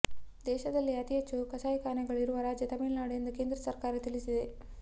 ದೇಶದಲ್ಲೇ ಅತಿಹೆಚ್ಚು ಕಸಾಯಿಖಾನೆಗಳು ಇರುವ ರಾಜ್ಯ ತಮಿಳುನಾಡು ಎಂದು ಕೇಂದ್ರ ಸರ್ಕಾರ ತಿಳಿಸಿದೆ